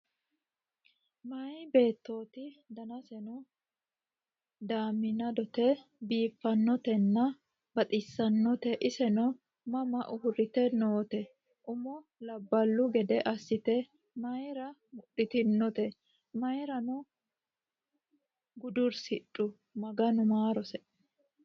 Meyaa beetoti danasenno damibete biifanotena baxxisanote iseno mama urite noote? Umo labbalu gedde asitte maayira mudhitinotte? Maayirano gudurisidhu? Maganu maarose